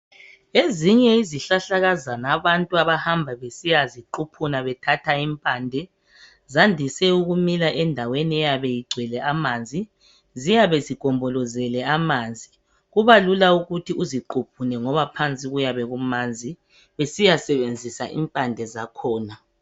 Ezinye yezihlahlakazana abantu abajayele ukuzithatha zandise ukumila lapho okulamanzi khona ,ziyabe zigombolozela amanzi zibalula ukuqhuphula impande ngoba phansi kuyabe kumanzi .